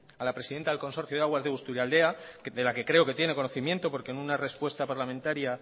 a la presidenta del consorcio de aguas de busturialdea de la que creo que tiene conocimiento porque en una respuesta parlamentaria